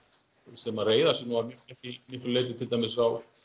sem reiða sig mikið til dæmis á